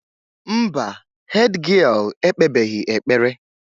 Mba, hédgịél ekpebeghị ekpere.